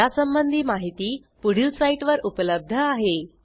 यासंबंधी माहिती पुढील साईटवर उपलब्ध आहे